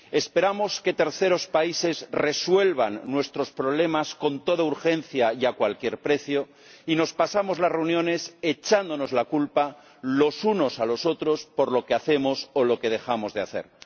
Esperamos que terceros países resuelvan nuestros problemas con toda urgencia y a cualquier precio, y nos pasamos las reuniones echándonos la culpa los unos a los otros por lo que hacemos o lo que dejamos de hacer.